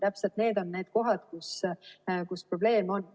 Täpselt need on need kohad, kus probleem on.